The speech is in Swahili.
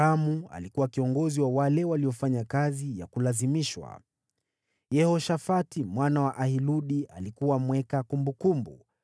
Adoramu alikuwa kiongozi wa wale waliofanya kazi ya kulazimishwa; Yehoshafati mwana wa Ahiludi alikuwa mweka kumbukumbu;